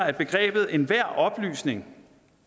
at begrebet enhver oplysning